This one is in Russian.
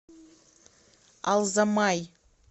алзамай